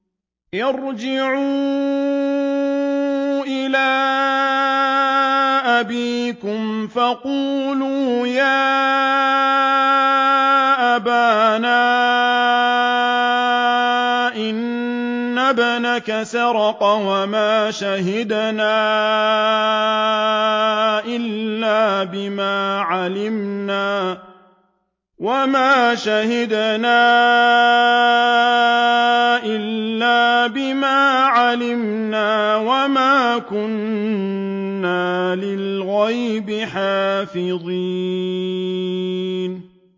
ارْجِعُوا إِلَىٰ أَبِيكُمْ فَقُولُوا يَا أَبَانَا إِنَّ ابْنَكَ سَرَقَ وَمَا شَهِدْنَا إِلَّا بِمَا عَلِمْنَا وَمَا كُنَّا لِلْغَيْبِ حَافِظِينَ